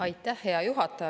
Aitäh, hea juhataja!